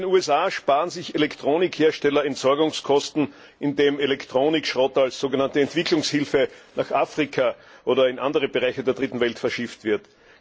In den USA sparen sich Elektronikhersteller Entsorgungskosten, indem Elektronikschrott als sogenannte Entwicklungshilfe nach Afrika oder in andere Bereiche der Dritten Welt verschifft wird.